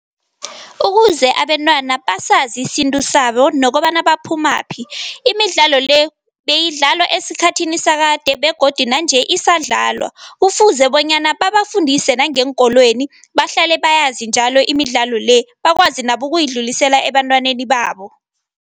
Ukuze abentwana basazi isintu sabo nokobana baphumaphi. Imidlalo le beyidlalwa esikhathini sakade begodu nanje isadlalwa. Kufuze bonyana babafundise nangeenkolweni bahlale bayazi njalo imidlalo le, bakwazi nabo ukuyidlulisela ebantwaneni babo.